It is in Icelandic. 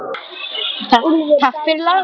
Takk fyrir lánið!